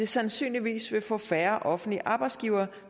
sandsynligvis vil få færre offentlige arbejdsgivere